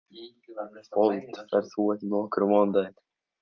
Fold, ferð þú með okkur á mánudaginn?